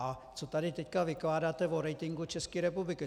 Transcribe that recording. A co tady teď vykládáte o ratingu České republiky?